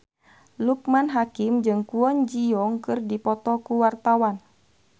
Loekman Hakim jeung Kwon Ji Yong keur dipoto ku wartawan